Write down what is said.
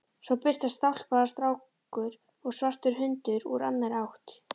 Svo birtast stálpaður strákur og svartur hundur úr annarri átt.